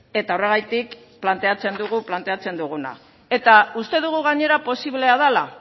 eta horregatik planteatzen dugu planteatzen duguna eta uste dugu gainera posiblea dela